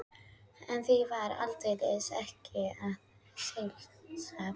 En því var aldeilis ekki að heilsa.